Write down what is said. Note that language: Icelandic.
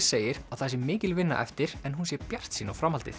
segir að það sé mikil vinna eftir en hún sé bjartsýn á framhaldið